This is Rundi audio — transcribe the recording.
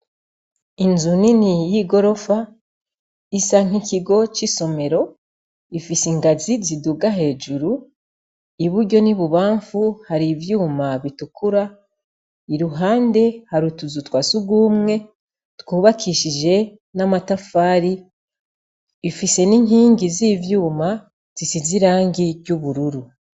Inzu nini y’igorofa isa nk’ikigo c’isomero, ifis’ingazi ziduga hejuru, iburyo n’ibubanfu har’ivyuma bitukura, iruhande , har’utuzu twasugumwe twubakishije n’amatafari, ifise n’inkingi z’ivyuma zisiz’irangi ry’ubururu.